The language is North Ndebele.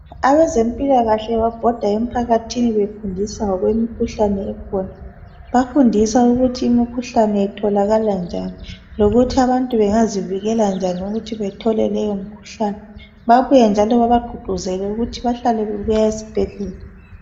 Abezempilakahle babhoda emphakathini befundisa ngokwemikhuhlane ekhona bafundisa ukuthi umkhuhlane itholakala njani lokuthi abantu bengazivikela njani ukuthi bethole leyo mkhuhlane babuye njalo bebaguquzele ukuthi bahlale bebuya esibhedlela